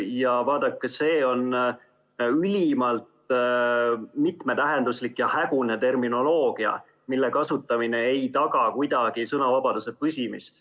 Ja vaadake, see on ülimalt mitmetähenduslik ja hägune terminoloogia, mille kasutamine ei taga kuidagi sõnavabaduse püsimist.